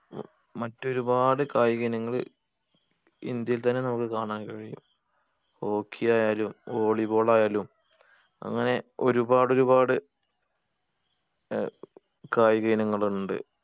മറ്റൊരുപാട് കായിക ഇനങ്ങള് ഇന്ത്യയിൽ തന്നെ നമ്മുക്ക് കാണാൻ കഴിയും hockey ആയാലും volley ball ആയാലും അങ്ങനെ ഒരുപാട് ഒരുപാട് ഏർ കായിക ഇനങ്ങള് ഇണ്ട്